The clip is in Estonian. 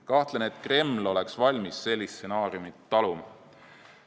Kahtlen, et Kreml oleks valmis sellist stsenaariumi taluma.